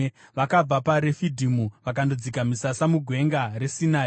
Vakabva paRefidhimu vakandodzika misasa muGwenga reSinai.